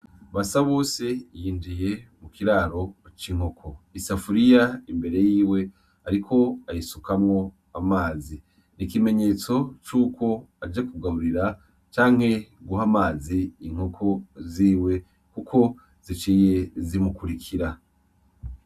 Basabose yinjiye mu kiraro c’inkoko. Isafuriya imbere yiwe ariko ayisukamwo amazi, ikimenyetso c’uko aje kugaburira canke guha amazi inkoko ziwe Kuko ziciye zumukurikira.